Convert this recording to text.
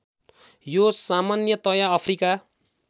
यो सामन्यतया अफ्रिका